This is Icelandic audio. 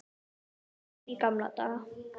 Meira líf í gamla daga?